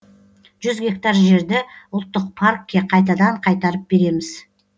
жүз гектар жерді ұлттық паркке қайтадан қайтарып береміз